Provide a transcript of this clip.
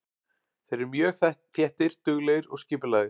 Þeir eru mjög þéttir, duglegir og skipulagðir.